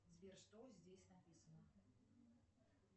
сбер что здесь написано